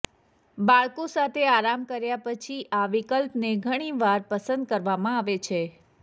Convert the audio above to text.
બાળકો સાથે આરામ કર્યા પછી આ વિકલ્પને ઘણી વાર પસંદ કરવામાં આવે છે